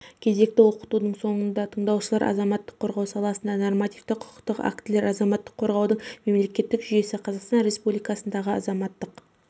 кезекті оқытудың соңында тындаушылар азаматтық қорғау саласында нормативті-құқықтық актілер азаматтық қорғаудың мемлекеттік жүйесі қазақстан республикасындағы азаматтық